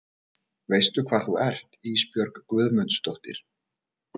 Veistu hvar þú ert Ísbjörg Guðmundsdóttir?